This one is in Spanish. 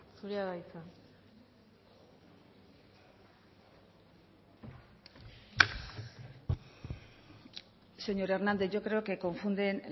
zurea da hitza señor hernández yo creo que confunden